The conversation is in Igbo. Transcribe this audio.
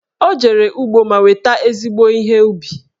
Ọ jere ugbo ma weta ezigbo ihe ubi